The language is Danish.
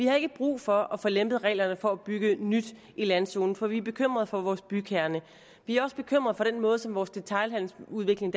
har ikke brug for at få lempet reglerne for at bygge nyt i landzone for vi er bekymret for vores bykerne vi er også bekymret for den måde som vores detailhandelsudvikling